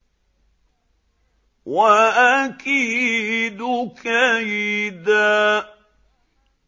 وَأَكِيدُ كَيْدًا